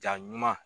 Jaa ɲuman